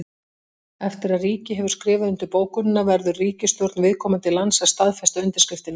Eftir að ríki hefur skrifað undir bókunina verður ríkisstjórn viðkomandi lands að staðfesta undirskriftina.